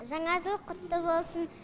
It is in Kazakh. жаңа жыл құтты болсын